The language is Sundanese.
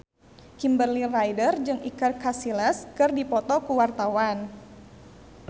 Kimberly Ryder jeung Iker Casillas keur dipoto ku wartawan